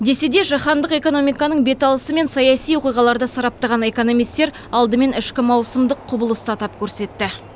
десе де жаһандық экономиканың бет алысы мен саяси оқиғаларды сараптаған экономистер алдымен ішкі маусымдық құбылысты атап көрсетті